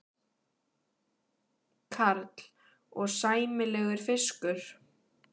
Karl: Og sæmilegur fiskur?